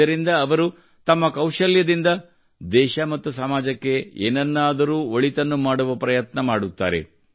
ಇದರಿಂದ ಅವರು ತಮ್ಮ ಕೌಶಲ್ಯದಿಂದ ದೇಶ ಮತ್ತು ಸಮಾಜಕ್ಕೆ ಏನನ್ನಾದರೂ ಒಳಿತನ್ನು ಮಾಡುವ ಪ್ರಯತ್ನ ಮಾಡುತ್ತಾರೆ